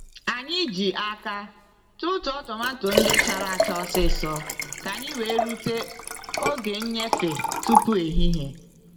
Anyị ji aka tụtụọ tomato ndị chara acha osịsọ ka anyị wee rute oge nnyefe tupu ehihie.